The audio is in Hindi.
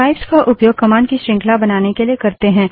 पाइप्स का उपयोग कमांड की श्रृंखला बनाने के लिए करते हैं